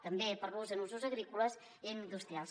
també per l’ús en usos agrícoles i industrials